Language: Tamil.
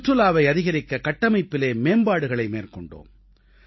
சுற்றுலாவை அதிகரிக்க கட்டமைப்பிலே மேம்பாடுகளை மேற்கொண்டோம்